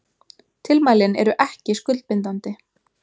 Tilmælin eru ekki skuldbindandi